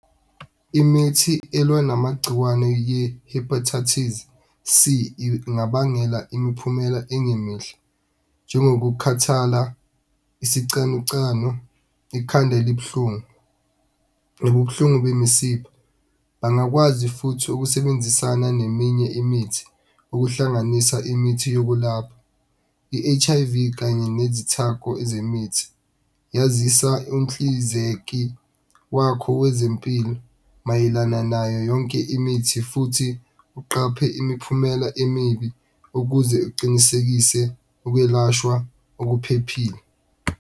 Imithi elwa namagciwane ye-Hepatitis C, ingabangela imiphumela engemihle njengokukhathala, isicanucanu, ikhanda elibuhlungu, nobubuhlungu bemisipha. Bangakwazi futhi ukusebenzisana neminye imithi, ukuhlanganisa imithi yokulapha i-H_I_V kanye nezithako ezemithi. Yazisa umhlinzeki wakho wezempilo mayelana nayo yonke imithi futhi uqaphe imiphumela emibi ukuze uqinisekise ukwelashwa okuphephile.